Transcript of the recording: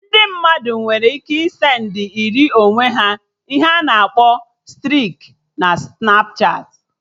Ndị mmadụ nwere ike ị send ịrị onwe ha ihe a na-akpọ striki na Snapchatị